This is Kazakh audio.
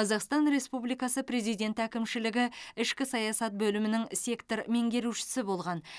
қазақстан республикасы президенті әкімшілігі ішкі саясат бөлімінің сектор меңгерушісі болған